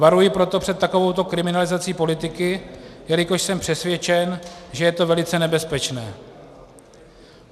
Varuji proto před takovouto kriminalizací politiky, jelikož jsem přesvědčen, že je to velice nebezpečné.